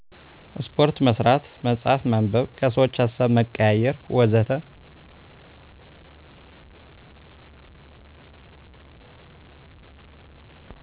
ስፓርት መስራት፣ መፅሃፍ ማንበብ፣ ከሰዎች ሀሳብ መቀያየር ወዘተ